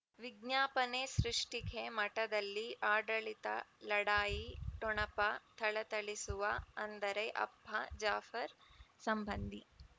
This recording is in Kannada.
ವಿಜ್ಞಾಪನೆ ಸೃಷ್ಟಿಗೆ ಮಠದಲ್ಲಿ ಆಡಳಿತ ಲಢಾಯಿ ಠೊಣಪ ಥಳಥಳಿಸುವ ಅಂದರೆ ಅಪ್ಪ ಜಾಫರ್ ಸಂಬಂಧಿ